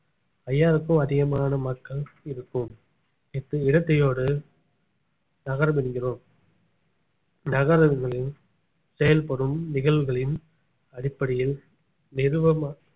ஐயாயிரம்க்கும் அதிகமான மக்கள் இருக்கோம் இடத்~ இடத்தையோடு நகரம் என்கிறோம் நகரங்களில் செயல்படும் நிகழ்வுகளின் அடிப்படையில் நிர்வ~